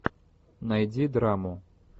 найди драму